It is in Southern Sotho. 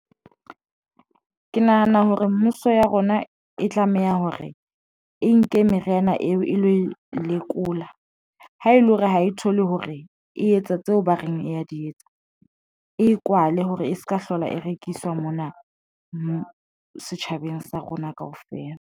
Ke nahana hore mmuso ya rona e tlameha hore e nke meriana eo e lo e lekola ha ele hore ha e thole hore e etsa tseo ba reng e a di etsa, e kwale hore e se ka hlola e rekiswa mona setjhabeng sa rona kaofela.